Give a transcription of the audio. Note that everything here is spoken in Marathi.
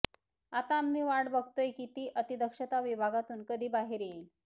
आता आम्ही वाट बघतोय की ती अतिदक्षता विभागातून कधी बाहेर येईल